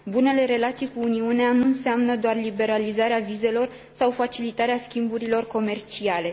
Bunele relații cu Uniunea nu înseamnă doar liberalizarea vizelor sau facilitarea schimburilor comerciale.